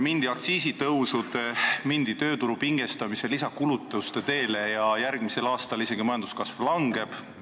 Mindi aktsiisitõusu, tööturu pingestamise ja lisakulutuste teele, ja järgmisel aastal majanduskasv isegi langeb.